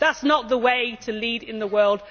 That is not the way to lead in the world